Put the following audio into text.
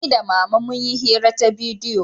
Ni da mama mun yi hira ta bidiyo